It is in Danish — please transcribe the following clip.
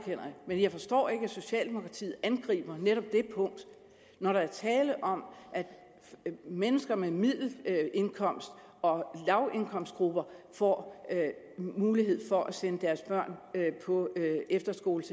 jeg men jeg forstår ikke at socialdemokratiet angriber netop det punkt når der er tale om at mennesker med middelindkomster og lavindkomster får mulighed for at sende deres børn på efterskole